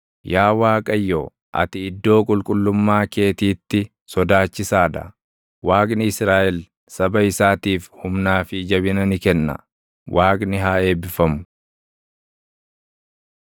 Yaa Waaqayyo, ati iddoo qulqullummaa keetiitti sodaachisaa dha; Waaqni Israaʼel saba isaatiif humnaa fi jabina ni kenna. Waaqni haa eebbifamu!